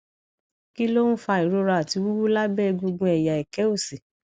kí ló ń fa ìrora àti wuwu lábẹ egungun ẹyà eke òsì